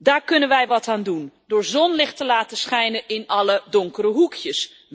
Daar kunnen wij wat aan doen door zonlicht te laten schijnen in alle donkere hoekjes.